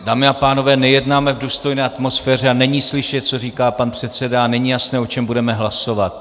Dámy a pánové, nejednáme v důstojné atmosféře a není slyšet, co říká pan předseda, a není jasné, o čem budeme hlasovat.